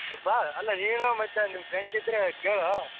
ಬಾ ಅಲ್ಲ ನೀನು ಮತ್ತೆ ನಿನ್ friends ಇದ್ರೆ ಕೇಳು.